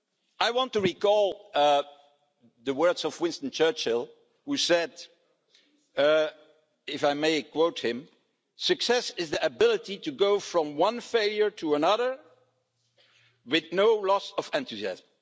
I want to recall the words of Winston Churchill, who said, if I may quote him Success is the ability to go from one failure to another with no loss of enthusiasm'.